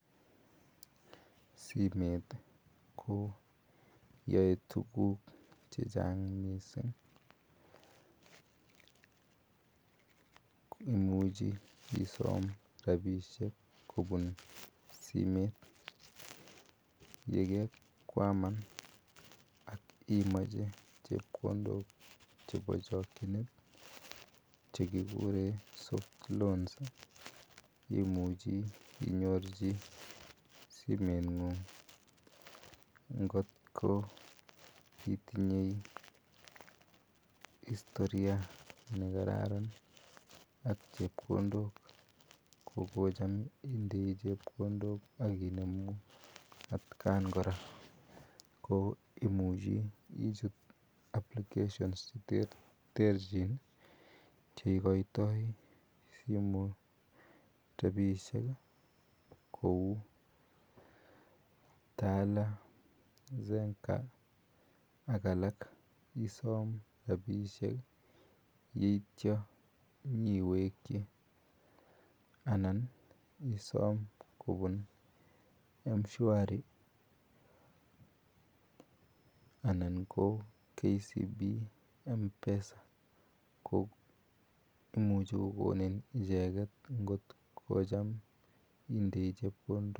Simet ko yaeitukuk chechang mising. imuchi isom rapishek kipun simet yekekwaman ak imache chepkondok chebo chakchinet, chekigure soft koan imuchi inyorune simenyun'g. Ngot ko itinye historia nekararan ak chepkondok ko kocham indei chepkondok ak inemu atkan kora. Ko imuchi ichut applicatiins che terterchin che ikoitoi rapishek kou, Tala, Zenka, ak alak isom rapisiek yeityo iwekchi. Anan isom Mshwari anan ko Kcb mpesa. Ko imuchi kokonin icheket ngot ko kocham indei chepkondok.